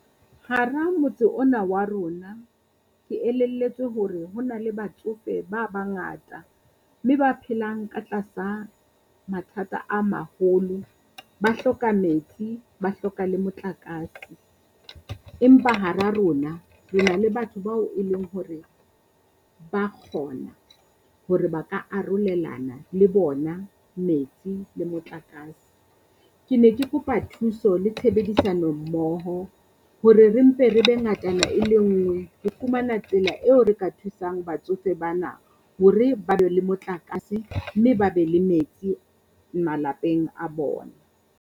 Hara motse ona wa rona ke elelletswe hore ho na le batsofe ba bangata, mme ba phelang ka tlasa mathata a maholo, ba hloka metsi, ba hloka le motlakase. Empa hara rona re na le batho bao e leng hore ba kgona hore ba ka arolelana le bona metsi le motlakase. Ke ne ke kopa thuso le tshebedisano mmoho hore re mpe re be ngatana e le ngwe, ho fumana tsela eo re ka thusang batsofe bana hore ba be le motlakase mme ba be le metsi malapeng a bona.